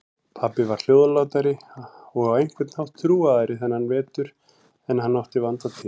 Pabbi var hljóðlátari og á einhvern hátt þrúgaðri þennan vetur en hann átti vanda til.